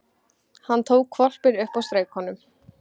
Hann tók hvolpinn upp og strauk honum.